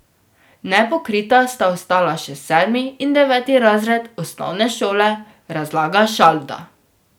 Nepokrita sta ostala še sedmi in deveti razred osnovne šole, razlaga Šalda.